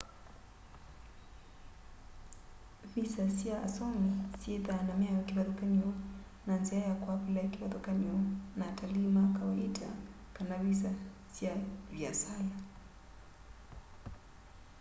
visa sya asomi syithwaa na miao kivathukany'o na nzia ya kuaplai kivathukany'o na atalii ma kawaita kana visa sya viasala